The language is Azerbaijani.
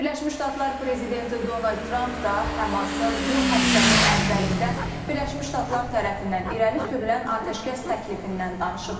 Birləşmiş Ştatlar prezidenti Donald Tramp da Həmasın bu həftənin əvvəlində Birləşmiş Ştatlar tərəfindən irəli sürülən atəşkəs təklifindən danışıb.